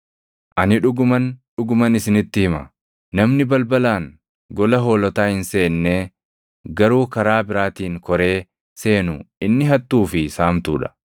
“Ani dhuguman, dhuguman isinitti hima; namni balbalaan gola hoolotaa hin seennee, garuu karaa biraatiin koree seenu inni hattuu fi saamtuu dha.